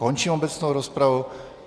Končím obecnou rozpravu.